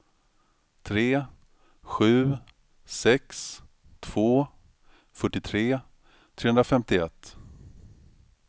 tre sju sex två fyrtiotre trehundrafemtioett